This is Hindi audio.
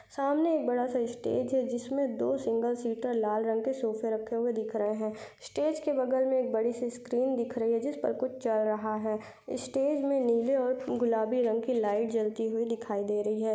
सामने एक बड़ा सा स्टेज है जिसमे दो सिंगल सीटर लाल रंग के सोफे रक्खे हुए दिख रहे है। स्टेज के बगल में एक बड़ी सी स्क्रीन दिख रही है जिस पर कुछ चल रहा है। स्टेज में नीले और गुलाबी रंग की लाइट जलती हुई दिखाई दे रही है।